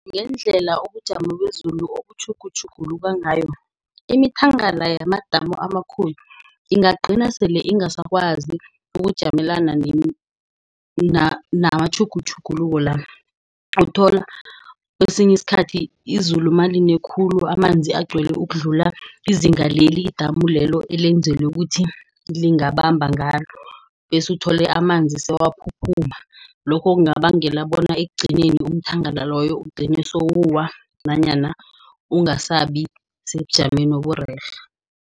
Ngendlela ubujamo bezulu obutjhugutjhuguluka ngayo, imithangala yamadamu amakhulu ingagcina sele ingasi ekwazi ukujamelana namatjhugutjhugulwela. Uthola kwesinye isikhathi izulu naline khulu, amanzi agcwale ukudlula izinga leli idamu lelo elenzelwa ukuthi lingabamba ngalo. Bese uthole amanzi sewaphuphuma. Lokho kungabangela bona ekugcineni iumthangala loyo ugcine sewuwa nanyana ungasabi sebujameni oburerhe.